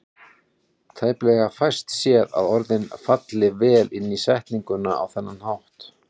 Tæplega fæst séð að orðin falli vel inn í setninguna á þennan hátt.